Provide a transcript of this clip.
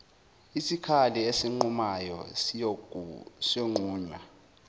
isikali esinqumayo siyonqunywa